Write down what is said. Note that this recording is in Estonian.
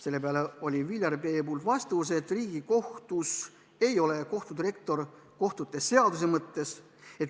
Selle peale vastas Viljar Peep, et Riigikohtus ei ole kohtudirektor kohtute seaduse mõttes.